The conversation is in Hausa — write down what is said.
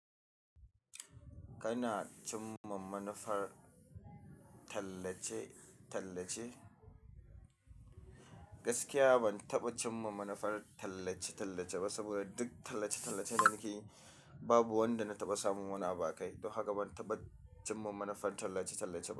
Kana cimma manufar tallace-tallace? Gaskiya ban taɓa cimma manufar tallace-tallace ba, saboda duk tallace-tallace da na yi babu wanda na taɓa samun wani abu akai. Don haka ban taɓa cimma manufar tallace-tallace ba.